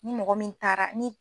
Ni mɔgɔ min taara ni